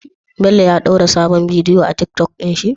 Bello ya dora sabon bidiyo a tiktok din shi?